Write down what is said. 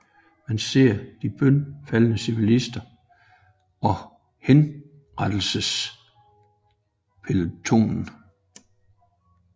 Man ser de bønfaldende civilister og henrettelsespelotonen